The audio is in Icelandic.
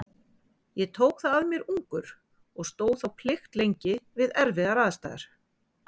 Ég tók það að mér ungur og stóð þá plikt lengi við erfiðar aðstæður.